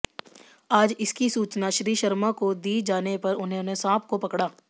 आज इसकी सूचना श्री शर्मा को दी जाने पर उन्होंने सांप को पकड़ा